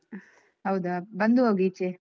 ಹೌದಾ ಬಂದು ಹೋಗ್ ಈಚೆ.